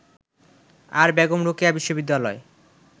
আর বেগম রোকেয়া বিশ্ববিদ্যালয়